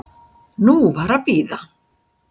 Nú var að bíða.